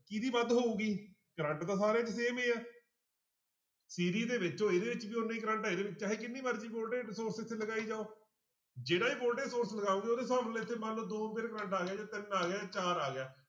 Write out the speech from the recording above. ਕਿਹਦੀ ਵੱਧ ਹੋਊਗੀ ਕਰੰਟ ਤਾਂ ਸਾਰੇ 'ਚ same ਹੀ ਹੈ ਦੇ ਵਿੱਚੋਂ ਇਹਦੇ ਵਿੱਚ ਵੀ ਓਨਾ ਹੀ ਕਰੰਟ ਹੈ ਇਹਦੇ ਵਿੱਚ ਚਾਹੇ ਕਿੰਨੀ ਮਰਜ਼ੀ voltage ਦੇ sources ਲਗਾਈ ਜਾਓ ਜਿਹੜਾ ਵੀ voltage source ਲਗਾਓਗੇ ਉਹਦੇ ਫਾਰਮੁਲੇ 'ਚ ਮੰਨ ਲਓ ਦੋ ਵਾਰ ਕਰੰਟ ਆ ਗਿਆ ਜਾਂ ਤਿੰਨ ਆ ਗਿਆ ਜਾਂ ਚਾਰ ਆ ਗਿਆ।